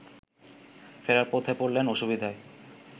ফেরার পথে পড়লেন অসুবিধায়